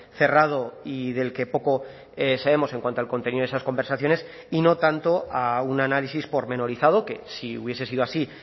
cerrado y del que poco sabemos en cuanto al contenido de esas conversaciones y no tanto a un análisis pormenorizado que si hubiese sido así